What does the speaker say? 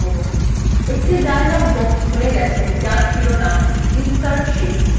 একটি dialog box খুলে গেছে যার শিরোনাম insert sheet